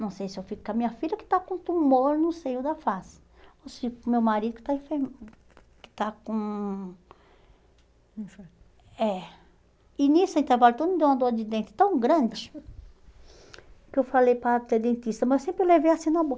Não sei se eu fico com a minha filha, que está com um tumor no seio da face, ou se fico com o meu marido, que está com... É. E nesse intervalo todo deu uma dor de dente tão grande, que eu falei para a dentista, mas sempre levei assim na boca.